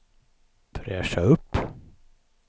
fräscha upp